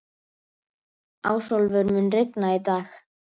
Ásólfur, mun rigna í dag?